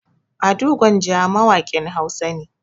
Ado Gwanja mawaƙin Hausa ne.